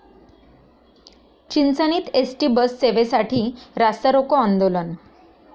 चिंचणीत ST बससेवेसाठी रास्तारोको आंदोलन